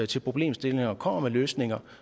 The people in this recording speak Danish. til problemstillinger og kommer med løsninger